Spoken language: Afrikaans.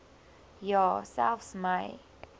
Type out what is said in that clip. ja selfs my